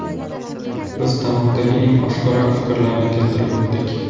Biz tarmoqdagi eng oshkora fikrlarni keltirib o‘tdik.